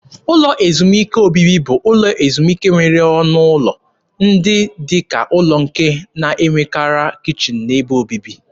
Ụlọ ezumike obibi bụ ụlọ ezumike nwere ọnụ ụlọ ndị dị ka ụlọ nke na-enwekarị kichin na ebe obibi.